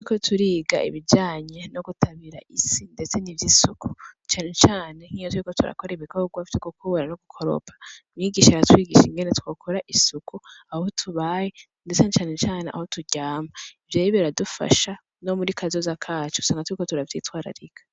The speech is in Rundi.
Turiko turiga ibijanye no gutabira isi ndetse n'ivyisuku, cane cane nkiyo turiko ibikogwa vyo gukubura no gukoropa, mwigisha aratwigisha ingene twokora isuku aho tubaye ndetse na cane cane aho turyama. Ivyo rero biradufasha no muri kazoza kacu, usanga turiko turavyitwararika.